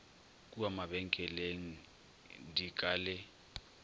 kua mabenkeleng di ka le